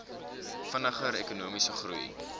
vinniger ekonomiese groei